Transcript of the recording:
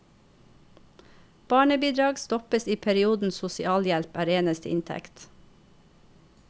Barnebidrag stoppes i perioden sosialhjelp er eneste inntekt.